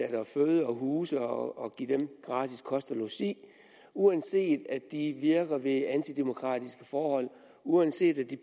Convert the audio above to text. at føde og huse og give dem gratis kost og logi uanset at de virker ved antidemokratiske forhold uanset at de